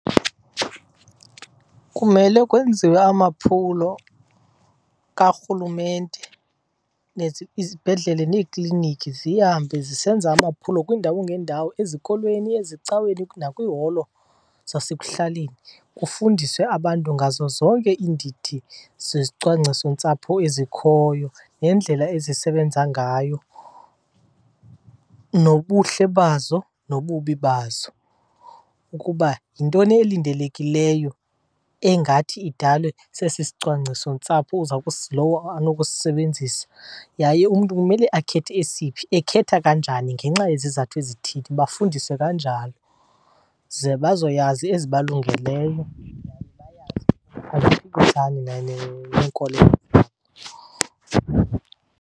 Kumele kwenziwe amaphulo kaRhulumente. Izibhedlele neekliniki zihambe zisenza amaphulo kwiindawo ngeendawo, ezikolweni, ezicaweni, nakwiiholo zasekuhlaleni. Kufundiswe abantu ngazo zonke iindidi zezicwangcisontsapho ezikhoyo neendlela ezisebenza ngayo, nobuhle bazo nobubi bazo. Ukuba yintoni elindelekileyo engathi idalwe sesi sicwangcisontsapho lowo anokusisebenzisa yaye umntu kumele akhethe esiphi, ekhetha kanjani ngenxa yezizathu ezithini. Bafundiswe kanjalo ze bazoyazi ezibalungeleyo and bayazi aziphikisani neenkolelo.